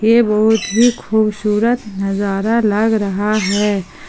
ये बहुत ही खूबसूरत नजारा लग रहा है।